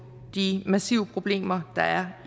de massive problemer der er